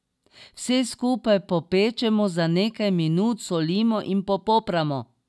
Vse skupaj popečemo za nekaj minut, solimo in popramo.